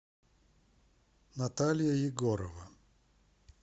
наталья егорова